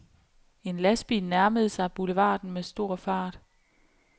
En lastbil nærmede sig boulevarden med stor fart.